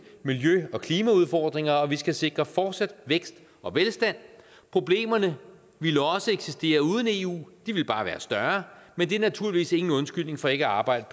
miljø og klimaudfordringer og vi skal sikre fortsat vækst og velstand problemerne ville også eksistere uden eu de ville bare være større men det er naturligvis ingen undskyldning for ikke at arbejde